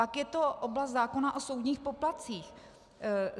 Pak je to oblast zákona o soudních poplatcích.